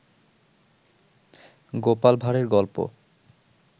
গোপাল ভাড়ের গল্প